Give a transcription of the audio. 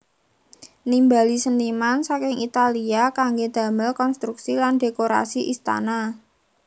Nimbali seniman saking Italia kanggé damel konstruksi lan dhékorasi istana